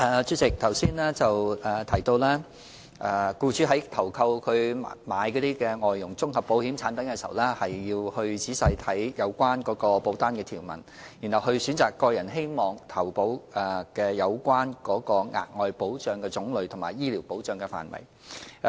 主席，剛才提到僱主在投購所需的外傭綜合保險產品時，要仔細閱讀保單條文，選擇個人希望投購額外保障的種類或醫療保障的範圍。